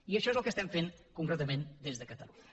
i això és el que estem fent concretament des de catalunya